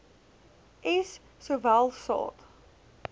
s sowel saad